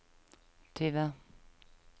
tyve